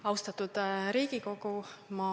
Austatud Riigikogu!